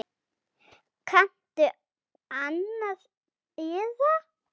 Kanntu annan eða?